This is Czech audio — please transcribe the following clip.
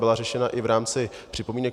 Byla řešena i v rámci připomínek.